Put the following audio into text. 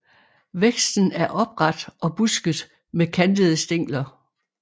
Væksten er opret og busket med kantede stængler